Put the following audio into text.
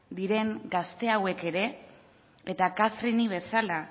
diren gazte hauek ere eta kathrineri bezala